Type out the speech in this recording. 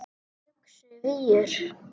Yxu víur